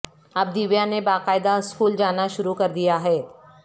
اب دیویا نے باقاعدہ سکول جانا شروع کر دیا ہے